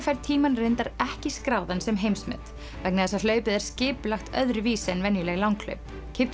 fær tímann reyndar ekki skráðann sem heimsmet vegna þess hlaupið er skipulagt öðruvísi en venjuleg langhlaup